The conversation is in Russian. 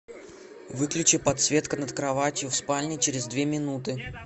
выключи подсветка над кроватью в спальне через две минуты